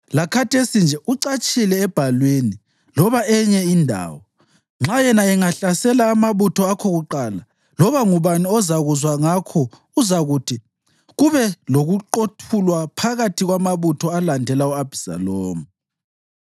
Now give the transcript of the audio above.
Lakhathesi nje, ucatshile ebhalwini loba enye indawo. Nxa yena engahlasela amabutho akho kuqala, loba ngubani ozakuzwa ngakho uzakuthi, ‘Kube lokuqothulwa phakathi kwamabutho alandela u-Abhisalomu.’